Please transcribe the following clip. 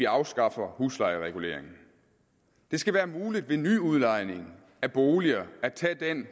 afskaffe huslejereguleringen det skal være muligt ved nyudlejning af boliger at tage den